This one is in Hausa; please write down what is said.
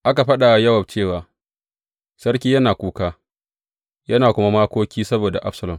Aka faɗa wa Yowab cewa, Sarki yana kuka, yana kuma makoki saboda Absalom.